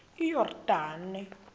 iyordane